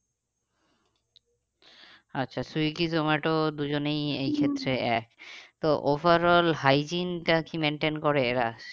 আচ্ছা Swiggy Zomato দুজনেই এই ক্ষেত্রে এক তো overall hygiene টা কি maintain করে এরা?